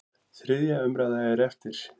Þriðja umræða er eftir.